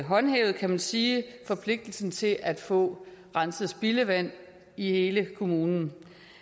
håndhævet kan man sige forpligtelsen til at få renset spildevand i hele kommunen